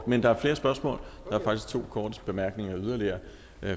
men der er flere spørgsmål der er faktisk to korte bemærkninger yderligere